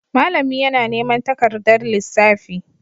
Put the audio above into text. Malami yana neman takardar lissafi.